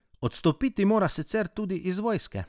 Odstopiti mora sicer tudi iz vojske.